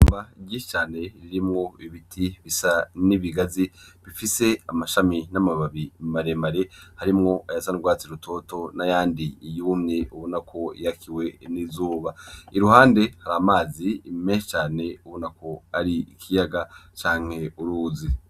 Ishamba ryinshi cane ririmwo ibiti bisa n' ibigazi bifise amashami n' amababi mare mare harimwo ayasa n' ugwatsi rutoto n' ayandi yumye ubona ko yakiwe n' izuba, iruhande hari amazi menshi cane uboneka ko ari ikiyaga canke uruzi.